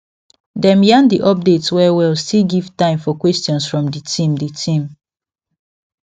dem yarn the update well well still give time for questions from the team the team